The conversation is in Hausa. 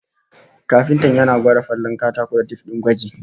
Kafintan yana gwada falalen katako da tif din gwaji